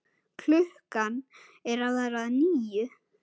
Klukkan er að verða níu